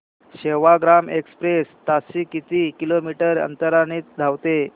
Sevagram express ताशी किती kilometre अंतराने धावते